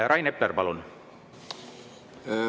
Rain Epler, palun!